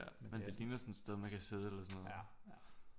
Ja men det ligner sådan et sted man kan sidde eller sådan noget